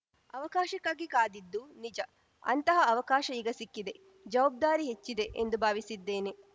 ಅವಕಾಶಕ್ಕಾಗಿ ಕಾದಿದ್ದು ನಿಜ ಅಂತಹ ಅವಕಾಶ ಈಗ ಸಿಕ್ಕಿದೆ ಜವಾಬ್ದಾರಿ ಹೆಚ್ಚಿದೆ ಎಂದು ಭಾವಿಸಿದ್ದೇನೆ